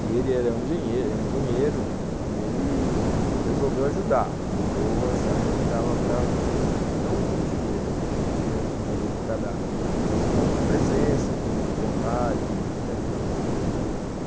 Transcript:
E ele era um engenheiro engenheiro, e ele resolveu ajudar, resolveu achar que dava para... não com dinheiro, que ele não tinha o dinheiro para dar, mas com presença, com vontade para ir para frente, né?